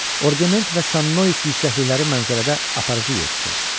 Orgemont və Sannois yüksəklikləri mənzərədə aparıcı yer tuturdu.